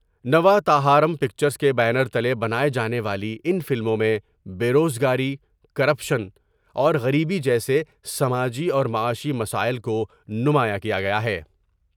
نوا تاہارم پکچرس کے بیانر تلے بنائے جانے والی ان فلموں میں بیروز گاری ، کر پشن اورغریبی جیسے سماجی اور معاشی مسائل کو نمایاں کیا گیا ہے ۔